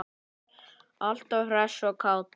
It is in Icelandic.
Alltaf hress og kát.